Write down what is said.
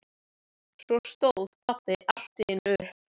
Svo stóð pabbi allt í einu upp.